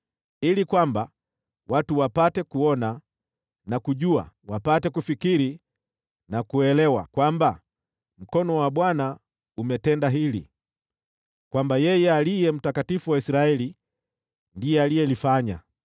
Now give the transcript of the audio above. ili kwamba watu wapate kuona na kujua, wapate kufikiri na kuelewa, kwamba mkono wa Bwana umetenda hili, kwamba yeye Aliye Mtakatifu wa Israeli ndiye alilifanya.”